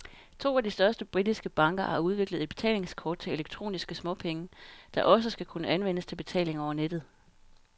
To af de største britiske banker har udviklet et betalingskort til elektroniske småpenge, der også skal kunne anvendes til betaling over nettet.